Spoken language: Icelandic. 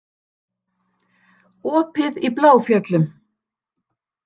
Opið í Bláfjöllum